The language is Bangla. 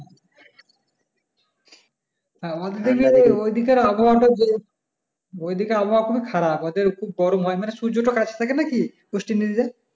হ্যাঁ ঐ দেকে ঐ দিকের আবহাওয়া ঐ দিকের আবহাওয়া খুব খারাপ ওদের খুব গরম হয় না সূর্য টা কাছ থেকে না কি ওয়েস্ট ইন্ডিজ